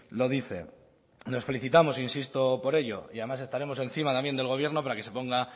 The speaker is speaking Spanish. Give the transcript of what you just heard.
lo dice nos felicitamos insisto por ello y además estaremos encima también del gobierno para que se ponga